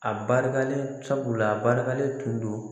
A barikalen sabula a barikalen tun don